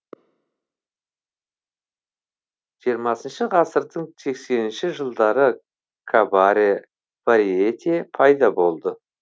жиырмасыншы ғасырдың сексенінші жылдары кабаре варьете пайда болды